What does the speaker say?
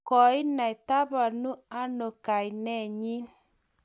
Koenai tabanonkainenyi?